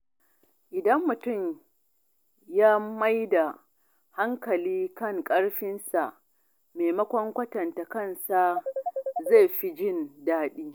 Idan mutum yana mai da hankali kan karfinsa maimakon kwatanta kansa, zai fi jin daɗi.